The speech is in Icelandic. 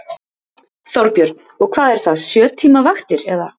Þorbjörn: Og hvað er það, sjö tíma vaktir, eða?